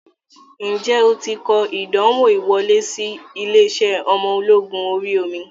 Ǹjẹ́ o ti kọ ìdánwò ìwọlé sí ilé-iṣẹ́ ọmọ ológun orí omi?